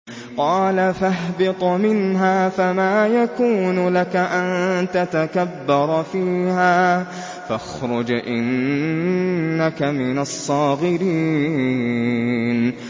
قَالَ فَاهْبِطْ مِنْهَا فَمَا يَكُونُ لَكَ أَن تَتَكَبَّرَ فِيهَا فَاخْرُجْ إِنَّكَ مِنَ الصَّاغِرِينَ